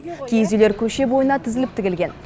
киіз үйлер көше бойына тізіліп тігілген